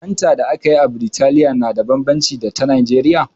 Fantan da aka yi a Biritaliya na da bambanci da ta Nijeriya.